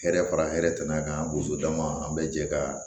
Hɛrɛ fara hɛrɛ tana kan an b'o d'a ma an bɛ jɛ ka